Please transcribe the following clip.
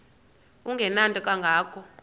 engenanto kanga ko